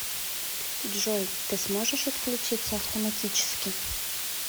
джой ты сможешь отключиться автоматически